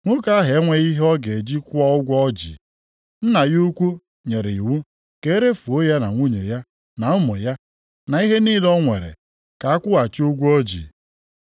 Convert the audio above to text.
Nwoke ahụ enweghị ihe ọ ga-eji kwụọ ụgwọ o ji. Nna ya ukwu nyere iwu ka e refuo ya na nwunye ya na ụmụ ya, na ihe niile o nwere, ka akwụghachi ụgwọ o ji.